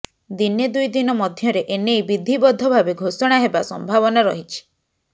ଦିନେ ଦୁଇଦିନ ମଧ୍ୟରେ ଏନେଇ ବିଧିବଦ୍ଧ ଭାବେ ଘୋଷଣା ହେବା ସମ୍ଭାବନା ରହିଛି